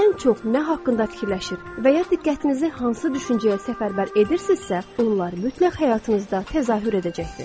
Ən çox nə haqqında fikirləşir və ya diqqətinizi hansı düşüncəyə səfərbər edirsinizsə, bunlar mütləq həyatınızda təzahür edəcəkdir.